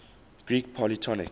greek polytonic